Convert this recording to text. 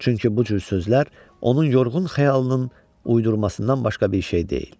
Çünki bu cür sözlər onun yorğun xəyalının uydurmasından başqa bir şey deyil.